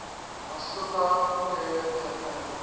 asuka period japan